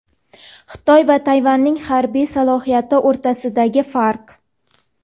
Xitoy va Tayvanning harbiy salohiyati o‘rtasidagi farq.